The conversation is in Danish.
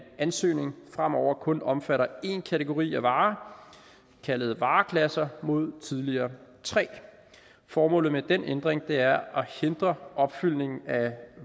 ansøgning fremover kun omfatter én kategori af varer kaldet vareklasser mod tidligere tre formålet med den ændring er at hindre opfyldning af